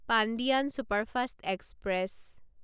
Pandian superfast express